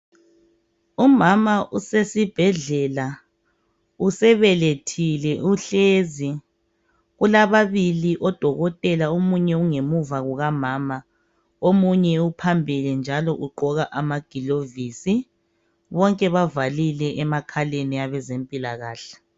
Umama usesibhedlela, usebelethile uhlezi .Ulababili odokotela omunye ungemuva kukamama ,omunye uphambili njalo ugqoka amagilovisi .Bonke bavalile emakhaleni abezempilakahle.